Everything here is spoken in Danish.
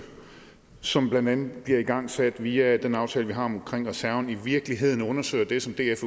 som blandt andet bliver igangsat via den aftale vi har omkring reserven i virkeligheden undersøger det som df